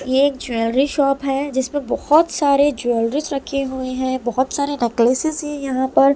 ये एक jewellery shop है जिसमें बहुत सारे ज्वेलरीज रखे हुए हैं बहुत सारे नेकलेसेस हैं यहां पर ----